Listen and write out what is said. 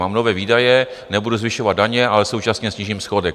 Mám nové výdaje, nebudu zvyšovat daně, ale současně snížím schodek.